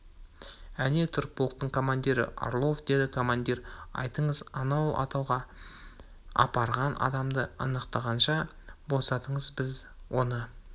әне тұр -полктың командирі орлов деді командир айтыңыз анау атуға апарған адамды анықтағанша босатыңыз біз оны